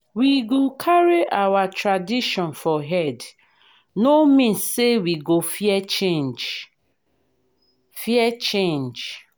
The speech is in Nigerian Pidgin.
we go carry our tradition for head no mean say we go fear change. fear change.